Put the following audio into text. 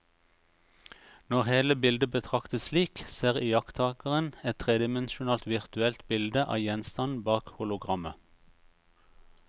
Når hele bildet betraktes slik, ser iakttakeren et tredimensjonalt virtuelt bilde av gjenstanden bak hologrammet.